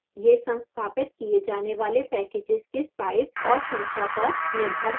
यह संस्थापित किए जाने वाले packages के size और संख्या पर निर्भर है